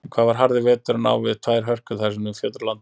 En hvað var harði veturinn á við þær hörkur, sem nú fjötra landið?